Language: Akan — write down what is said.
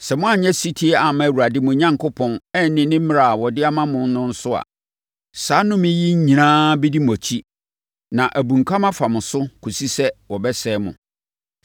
Sɛ moanyɛ ɔsetie amma Awurade, mo Onyankopɔn, anni mmara a ɔde ama mo no so a, saa nnome yi nyinaa bɛdi mo akyi na abunkam afa mo so kɔsi sɛ wɔbɛsɛe mo.